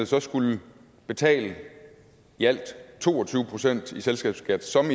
så skulle betale i alt to og tyve procent i selskabsskat som